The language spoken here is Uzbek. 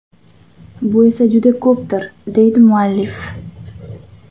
Bu esa juda ko‘pdir, deydi muallif.